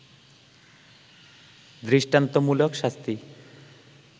দৃষ্টান্তমূলক শাস্তি